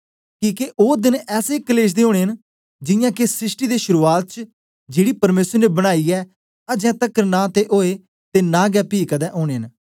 किके ओ देन ऐसे कलेश दे ओनें ऐं जियां के सृष्टि दे शुरुआत च जेड़ी परमेसर ने बनाई ऐ अजें तकर नां ते ओए ते नां गै पी कदें ओनें न